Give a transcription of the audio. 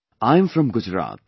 I am from Gujarat